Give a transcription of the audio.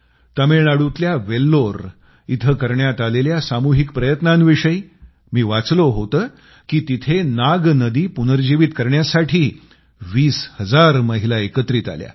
तामिळनाडूतल्या वेल्लोर इथं करण्यात आलेल्या सामूहिक प्रयत्नांविषयी मी वाचलं होतं की तिथं नाग नदी पुनर्जीवित करण्यासाठी 20 हजार महिला एकत्रित आल्या